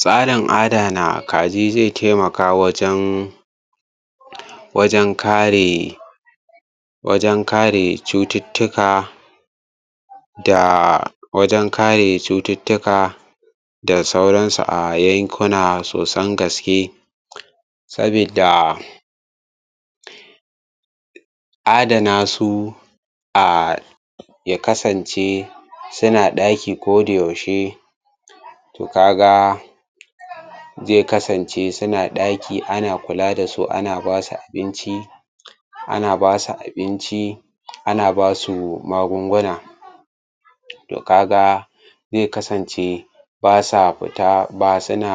Tsarin adana kaji zai taimaka wajen wajen kare wajen kare cututtuka da wajen kare cututtuka da sauransu a yankuna sosan gaske. sabidda Adana su a yakasance suna ɗaki kodayaushe to ka ga zai kasance suna ɗaki ana kula da su ana ba su abinci ana ba su abinci ana basu magunguna to ka ga zai kasance ba sa fita ba suna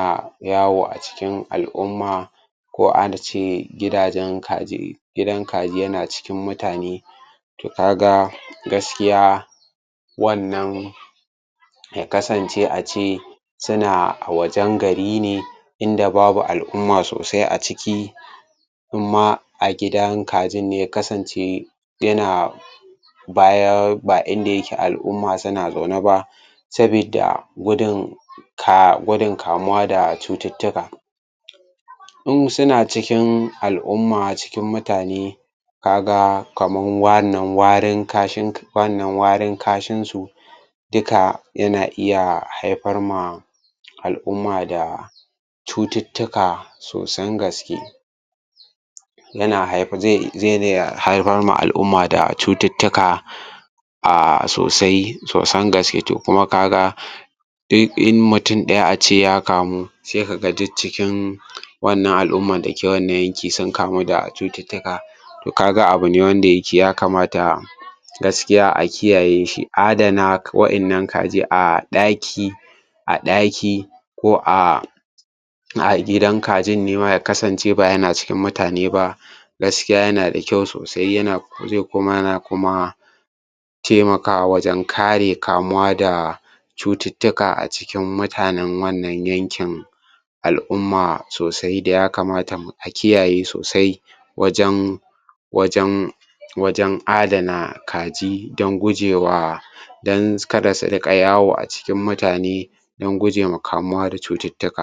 yawo a cikin al'umma ko a ce gidajen kaji gidan kaji yana cikin mutane to kaga gaskiya wannan ya kasance a ce suna a wajen gari ne inda babu al'umma in ma a gidan kajin ne ya kasance yana baya ba in dayke al'umma suna zaune ba sabidda gudun gudun akamuwa da cututtuka in suna cikin al'umma cikin mutane ka ga kamar wannan warin kashinsu duka yana iya haifar ma al'umma da cututtuka sosan gaske. yana haifar zai iya haifar ma al'umma cututtuka a sosai saosan gaske to kuma ka ga in in mutum ɗaya a ce ya kamu sai kaga duk cikin wannan al'ummar da ke wanna yankin sun kamu da cutuka to ka ga abu ne wanda ya kamata a gaskiya a kiyaye shi adana waɗannan kaji a ɗaki a ɗaki ko a a gidan kajin ne ma ya kasance ba yana cikin mutane ba gaskiya yana da kyau sosai yana zai kuma yana kuma taimakawa wajen kare kamuwa da cututtuka a cikin mutanen wannan yankin al'umma sosai da ya kamata a kiyaye sosai wajen wajen wajen adana kaji don gujewa don kada su riƙa yawo a cikin mutane don guje ma kamuwa da cututtuka.